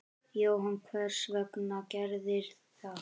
Jóhann: Hvers vegna gerðirðu það?